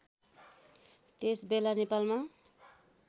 त्यस बेला नेपालमा